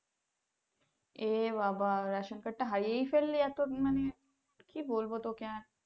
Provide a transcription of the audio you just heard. এ বাবা ration card টা হারিয়েই ফেললি এত মানে কি বলবো তোকে আর।